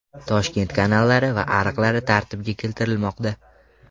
Toshkent kanallari va ariqlari tartibga keltirilmoqda.